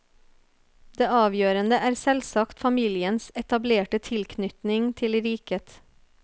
Det avgjørende er selvsagt familiens etablerte tilknytning til riket.